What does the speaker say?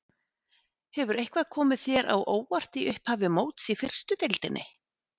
Hefur eitthvað komið þér á óvart í upphafi móts í fyrstu deildinni?